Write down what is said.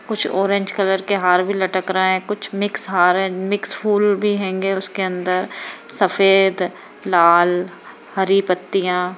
कुछ orange colour के हार भी लटक रहे हैं मिक्स हार है कुछ मिक्स फूल भी हैंगे उसके अंदर सफेद लाल हरी पत्तियाँ --